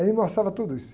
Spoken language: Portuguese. Ele mostrava tudo isso.